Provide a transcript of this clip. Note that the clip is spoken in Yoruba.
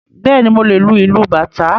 Bẹ́ẹ̀ni, mo lè lu ìlú bàtá